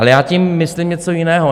Ale já tím myslím něco jiného.